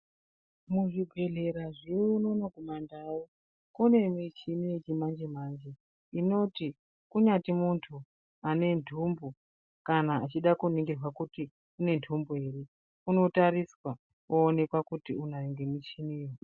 Muzvibhedhlera zvedu mudzimwe ndau mune michini yechimanje manje inoti kunyati muntu ane ntumbu kana kuningirwa kuti une ntumbu ere onotariswa oonekwa kuti unayo ngemichini.